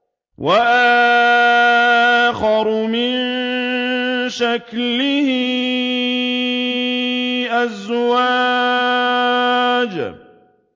وَآخَرُ مِن شَكْلِهِ أَزْوَاجٌ